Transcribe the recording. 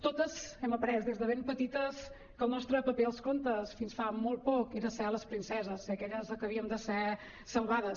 totes hem après des de ben petites que el nostre paper als contes fins fa molt poc era ser les princeses eh aquelles que havíem de ser salvades